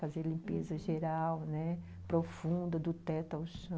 Fazer limpeza geral, né, profunda, do teto ao chão.